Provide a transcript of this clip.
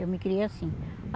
Eu me criei assim.